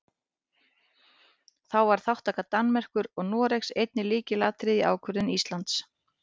Þá var þátttaka Danmerkur og Noregs einnig lykilatriði í ákvörðun Íslands.